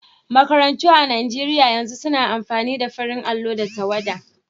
Makarantu a Nigeriya yanzu suna amfani da farin allo da tawwada.